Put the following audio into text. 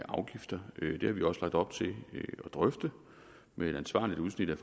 afgifterne det har vi også lagt op til at drøfte med et ansvarligt udsnit af